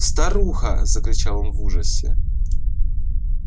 старуха закричал он в ужасе